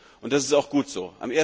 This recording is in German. Und das ist auch gut so.